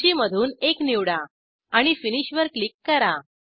सूचीमधून एक निवडा आणि फिनिश वर क्लिक करा